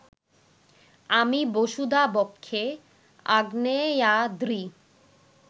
আমি বসুধা-বক্ষে আগ্নেয়াদ্রি